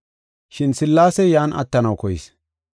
[Shin Sillaasey yan attanaw koyis].